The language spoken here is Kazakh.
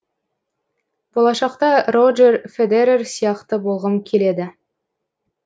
болашақта роджер федерер сияқты болғым келеді